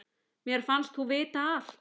Mér fannst þú vita allt.